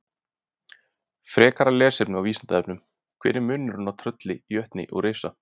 Frekara lesefni á Vísindavefnum: Hver er munurinn á trölli, jötni og risa?